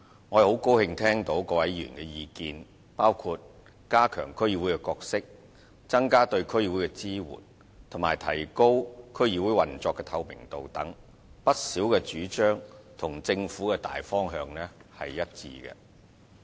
我很高興聽到各位議員的意見，包括加強區議會的角色、增加對區議會的支援及提高區議會運作的透明度等，不少主張與政府的大方向是一致的。